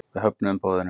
Við höfnuðum boðinu.